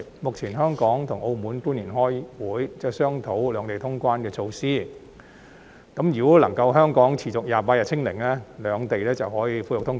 日前香港與澳門官員開會，商討兩地通關的措施，如果香港能夠持續28天"清零"，兩地便可以恢復通關。